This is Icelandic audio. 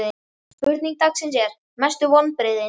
Spurning dagsins er: Mestu vonbrigðin?